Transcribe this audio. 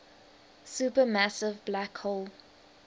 supermassive black hole